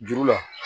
Juru la